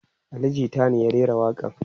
Ali jita ne ya rera waƙa n